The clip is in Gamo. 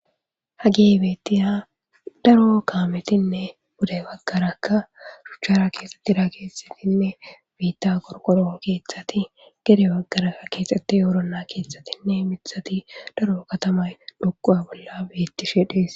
Hagge beetiya daro kaametinne pude bagarakka shuuchchara keexitida issippenne biita qorqoro keethati gede bagarakka keexxeti woronna keetathinne mithati daro katama xoquwa bolla beetishe dees.